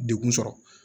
Dekun sɔrɔ